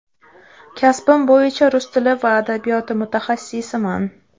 Kasbim bo‘yicha rus tili va adabiyoti mutaxassisiman.